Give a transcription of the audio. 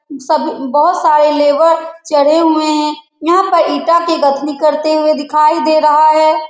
सब बहुत सारे लेबर चढ़े हुए हैं यहां पर ईटा का गथली करते हुए दिखाई दे रहा हैं।